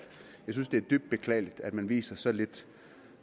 jeg synes det er dybt beklageligt at man viser så lidt